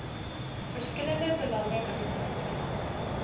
verskillende belange groepe